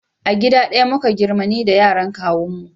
A gida ɗaya muka girma ni da yaran kawun mu